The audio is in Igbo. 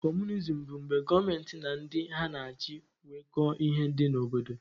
Comunism bụ mgbe gọọmenti na ndị ha na-achị nweko ihe dị n'obodo.